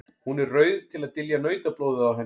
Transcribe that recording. Hún er rauð til að dylja nautablóðið á henni.